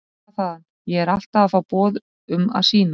Skrifar þaðan: Ég er alltaf að fá boð um að sýna.